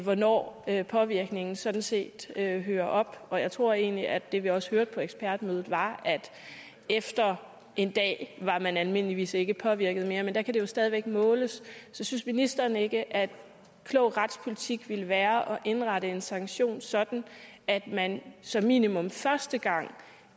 hvornår påvirkningen sådan set hører hører op og jeg tror egentlig at det vi også hørte på ekspertmødet var at efter en dag var man almindeligvis ikke påvirket mere men der kan det jo stadig væk måles synes ministeren så ikke at klog retspolitik ville være at indrette en sanktion sådan at man som minimum første gang